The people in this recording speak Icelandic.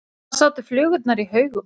Þar sátu flugurnar í haugum.